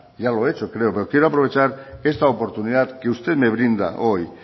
ya lo he hecho creo pero quiero aprovechar esta oportunidad que usted me brinda hoy